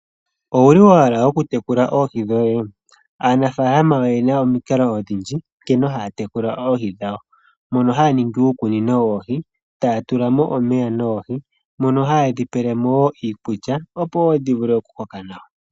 Owuli wa hala okutekula oohi dhoye? Aanafaalama oyena omikalo odhindji nkene haya tekula oohi dhawo. Mono haya ningi uukunino woohi taya tula mo omeya noohi mono hayedhi pelemo woo iikulya opo dhi vule okukoka nawa.